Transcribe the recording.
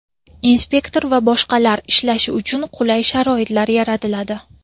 inspektor va boshqalar) ishlashi uchun qulay sharoitlar yaratiladi.